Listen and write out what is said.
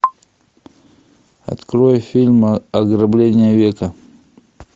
открой фильм ограбление века